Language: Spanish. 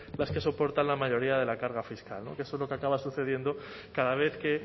las que soportan la mayoría de la carga fiscal que eso es lo que acaba sucediendo cada vez que